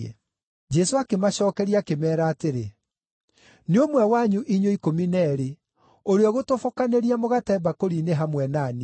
Jesũ akĩmacookeria akĩmeera atĩrĩ, “Nĩ ũmwe wanyu inyuĩ ikũmi na eerĩ, ũrĩa ũgũtobokanĩria mũgate mbakũri-inĩ hamwe na niĩ.